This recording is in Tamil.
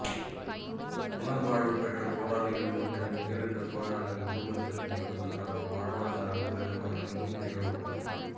புனர்வாழ்வு பெற்ற போராளிகள் மற்றும் உயிரிழந்த போராளிகளின் குடும்பங்களுக்கான வாழ்வாதார உதவி வழங்கும் நிகழ்வுகள்